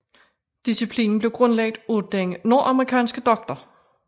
Disciplinen blev grundlagt af den nordamerikanske Dr